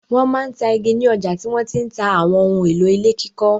Wọ́n máa ń ta igi ni ọjà tí wọ́n ti ń ta àwọn ohun-èlò ilé kíkọ́.